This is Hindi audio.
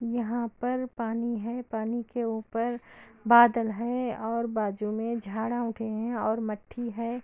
यहाँ पर पानी है पानी के ऊपर बादल है ओर बाजो मे जड़ा होती हे | ओर मट्टी हे |